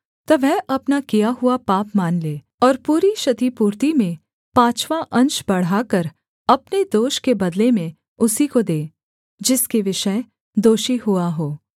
तब वह अपना किया हुआ पाप मान ले और पूरी क्षतिपूर्ति में पाँचवाँ अंश बढ़ाकर अपने दोष के बदले में उसी को दे जिसके विषय दोषी हुआ हो